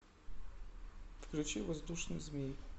включи воздушный змей